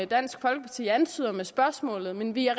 dansk folkeparti antyder med spørgsmålet men vi er